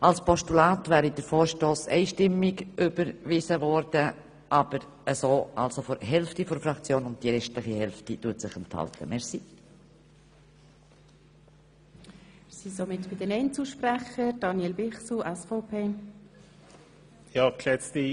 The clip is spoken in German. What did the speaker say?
Als Postulat wäre der Vorstoss einstimmig überwiesen worden, als Motion jedoch wie gesagt nur von der Hälfte der Fraktion, während sich die andere Hälfte der Stimme enthält.